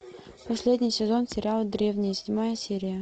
последний сезон сериала древние седьмая серия